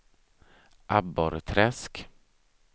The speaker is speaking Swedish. Abborrträsk